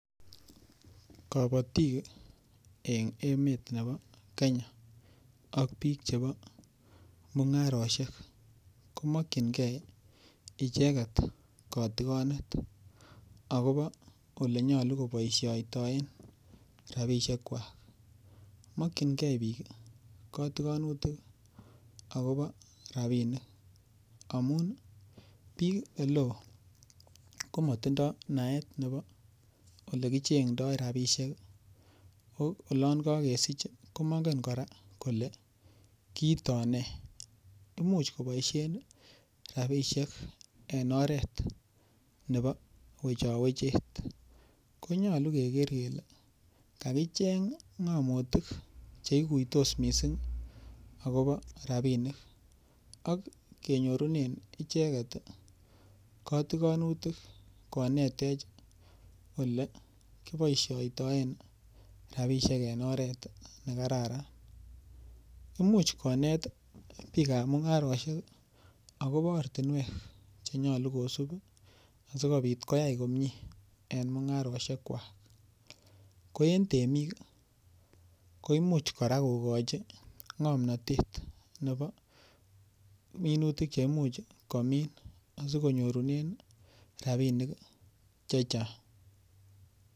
Kobotiken emet ab Kenya ak biik chebo mung'arosiek komokinge icheget kotikonet agobo ole nyolu koboisiotoen rabishek kwak. Mokinge biik kotikonutik agobo rabinik amun biik ole oo komotindo naet agobo ole kichengdoi rabishek. Ago olon kogesich komongen kora kole kiito nee? Imuch koboisien rabisiek en oret nebo wechowechet, konyolu keger kele kagicheng ng'amotik che iguitos mising agobo rabinik ak kinyorunen icheget kotikonutik konetech ole kiboisioitoen rabishek en oret ne kararan. Imuch konet biikab mung'arosiek agobo ortinwek che nyolu kosib asikobit koyai komie en mung'arosiekwak. Ko en temik ko imuch kora kogochi ng'omnatet nebo minutik che imuch komin asikonyorunen rabinik che chang.